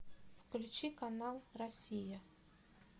включи канал россия